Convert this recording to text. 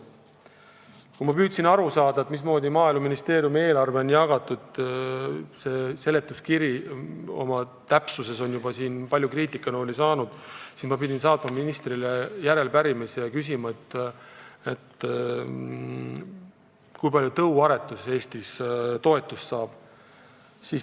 Kui ma püüdsin aru saada, mismoodi Maaeluministeeriumi eelarve on jagatud – seletuskirja täpsus on siin juba palju kriitikanooli saanud –, siis pidin saatma ministrile järelepärimise ja küsima, kui palju tõuaretus Eestis tuleval aastal toetust saab.